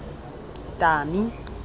tami